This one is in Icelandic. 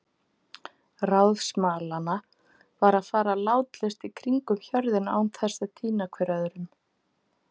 Ráð smalanna var að fara látlaust í kringum hjörðina án þess að týna hver öðrum.